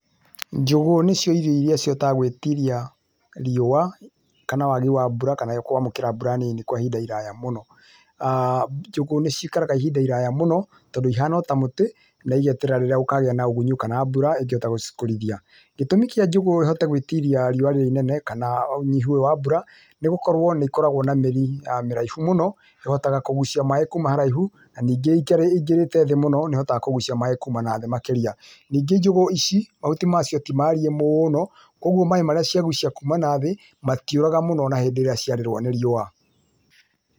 Njũgũ nĩcio irio ĩrĩa citĩgũtiria riũa, kana waagi wa mbura kana kwamũkĩra mbura nini kwa ihinda iraya mũno[uhh]njũgũ nĩcĩikaraga ihinda iraya mũno tondũ ihana ota mũtĩ na igeterera rĩrĩa gũkũgĩa ũhunyu kana mbura igote gũcikũrithi. Gĩtũmi kĩa njũgũ ihote gwĩtiria riũa rĩũ rĩnene kana ũnyihu wa mbura nĩgũkorwo nĩkoragwo na mĩri mĩraihu mũno ĩhotaga kũgucia maĩ kuuma haraihu na ningĩ ingĩrĩte thĩĩ mũno nĩhotaga kũgucia maĩ kuuma na thĩĩ makĩrĩa, ningĩ njũgũ ici mahuti macio tĩ mariĩ mũno kwoguo maĩ marĩa magũcia kuuma na thĩĩ matĩũraga mũno hĩndĩ ĩrĩa ciarĩrũa nĩ riũa.